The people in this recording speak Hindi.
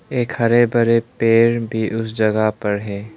एक हरे भरे पेड़ भी उस जगह पर है।